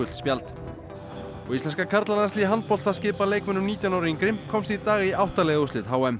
spjald og íslenska karlalandsliðið í handbolta skipað leikmönnum nítján ára og yngri komst í dag í átta liða úrslit h m